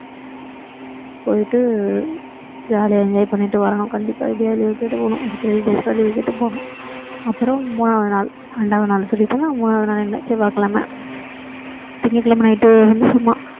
போயிட்டு jolly யா enjoy பண்ணிட்டு வரணும் கண்டிப்பா எப்படியாவது leave கேட்டு போகணும் ஒரு three days leave கேட்டு போகணும் அப்பறோம் மூணாவது நாள் இரண்டாவது நாள் சொல்லிட்டேனா மூணாவது நாள் என்ன செவ்வாய்க்கிழமை திங்கட்கிழமை night வந்து சும்மா